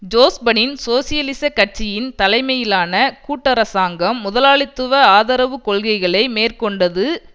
ஜோஸ்பனின் சோசியலிச கட்சியின் தலைமையிலான கூட்டரசாங்கம் முதலாளித்துவ ஆதரவு கொள்கைகளை மேற்கொண்டது